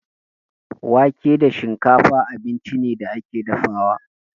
Wake da shinkafa abinci ne da ake dafawa.